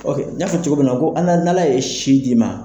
n y'a fɔ cogo minna, n'ala ye si d'i ma